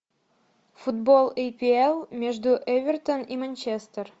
футбол апл между эвертон и манчестер